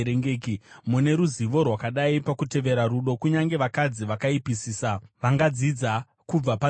Mune ruzivo rwakadii pakutevera rudo! Kunyange vakadzi vakaipisisa vangadzidza kubva panzira dzenyu.